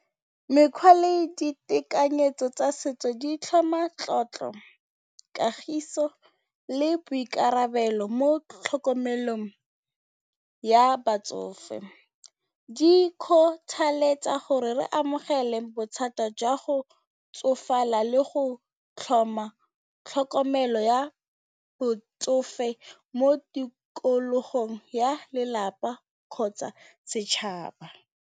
Mekgwa le ditekanyetso tsa setso di tlhoma tlotlo, kagiso le boikarabelo mo tlhokomelong ya batsofe. Di kgothaletsa gore re amogele bothata jwa go tsofala le go tlhoma tlhokomelo ya botsofe mo tikologong ya lelapa kgotsa setšhaba.